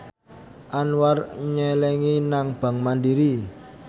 Anwar nyelengi nang bank mandiri